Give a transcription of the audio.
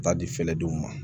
Taa di fɛrɛdenw ma